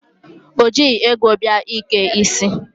O jighị ego bịa ike isi.